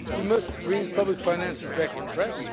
we must bring public finances back on track